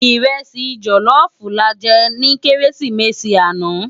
Irèsi jòlòfú làjè ni Kérésimési ànâ